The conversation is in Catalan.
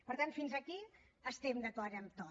per tant fins aquí estem d’acord en tot